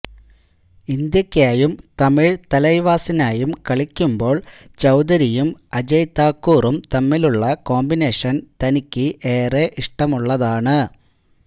ഇന്ത്യക്കായും തമിഴ് തലൈവാസിനായും കളിക്കുമ്പോൾ ചൌധരിയും അജയ് താക്കൂറും തമ്മിലുള്ള കോമ്പിനേഷൻ തനിക്ക് ഏറെ ഇഷ്ടമുള്ളതാണ്